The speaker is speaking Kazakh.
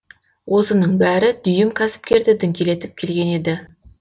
осының бәрі дүйім кәсіпкерді діңкелетіп келген еді